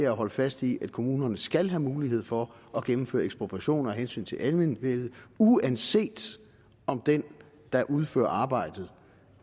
at holde fast i at kommunerne skal have mulighed for at gennemføre ekspropriation af hensyn til almenvellet uanset om den der udfører arbejdet